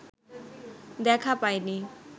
দেখা পায় নি